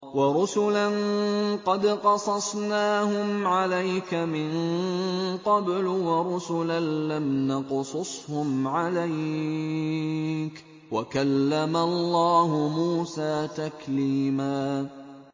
وَرُسُلًا قَدْ قَصَصْنَاهُمْ عَلَيْكَ مِن قَبْلُ وَرُسُلًا لَّمْ نَقْصُصْهُمْ عَلَيْكَ ۚ وَكَلَّمَ اللَّهُ مُوسَىٰ تَكْلِيمًا